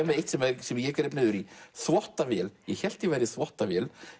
með eitt sem eitt sem ég greip niður í þvottavél ég hélt ég væri þvottavél